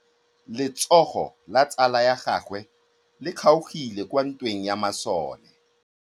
Letsôgô la tsala ya gagwe le kgaogile kwa ntweng ya masole.